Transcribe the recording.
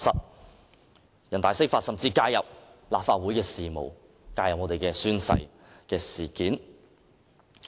人大常委會釋法甚至介入立法會事務，介入宣誓事件。